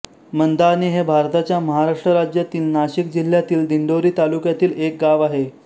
मंदाणे हे भारताच्या महाराष्ट्र राज्यातील नाशिक जिल्ह्यातील दिंडोरी तालुक्यातील एक गाव आहे